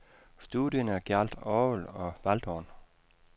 Studierne gjaldt orgel og waldhorn.